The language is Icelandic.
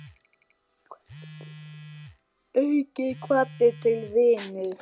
Aukinn hvati til vinnu.